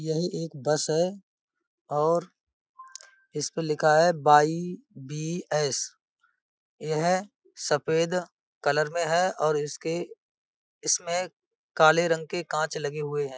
यही एक बस है और इसपे लिखा है बाइ बी.एस. ये है सफेद कलर में है और इसके इसमें काले रंग के कांच लगे हुए हैं।